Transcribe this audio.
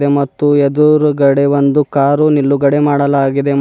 ಹಾಗೆ ಮತ್ತು ಎದುರುಗಡೆ ಒಂದು ಕಾರು ನಿಲ್ಲುಗಡೆ ಮಾಡಲಾಗಿದೆ.